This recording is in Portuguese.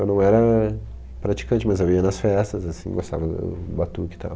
Eu não era praticante, mas eu ia nas festas, assim, gostava do batuque e tal.